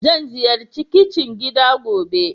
Zan ziyarci kicin gida gobe.